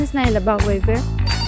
Müraciətiniz nə ilə bağlı idi?